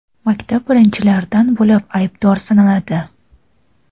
maktab birinchilardan bo‘lib aybdor sanaladi.